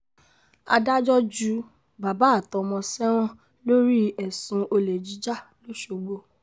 adájọ́ ju bàbá àtọmọ sẹ́wọ̀n lórí ẹ̀sùn olè jíjà lọ́sọ̀gbọ̀